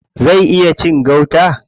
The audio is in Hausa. Zai iya cin gauta?